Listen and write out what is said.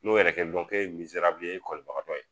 N'o yɛrɛ kɛ ye e ye kɔlibagatɔ ye.